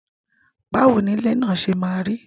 Báwo ni ilẹ̀ náà ṣe maa rí?